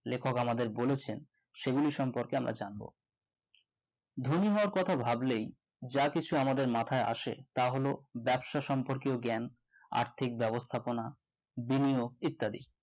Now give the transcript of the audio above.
লেখক আমাদের বলেছেন সেগুলি সম্পর্কে আমরা জানবো ধনী হবার কথা ভাবলেই যা কিছু আমাদের মাথায় আসে তা হলো ব্যবসা সম্পর্কে জ্ঞান আর্থিক ব্যবস্থাপনা বিভিন্ন ইত্যাদি